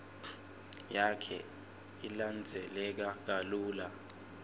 yakhe ilandzeleka kalula